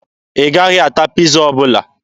Ị gaghị ata Piiza ọbụla.